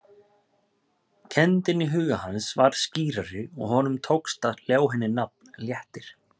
Kenndin í huga hans varð skýrari og honum tókst að ljá henni nafn, léttir.